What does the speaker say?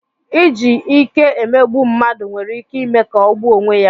Iji ike emegbu mmadụ nwere ike ime ka ọ gbuo onwe ya.